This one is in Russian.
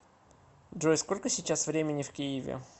джой сколько сейчас времени в киеве